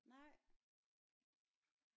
Nej